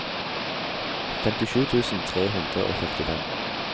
femtisju tusen tre hundre og førtifem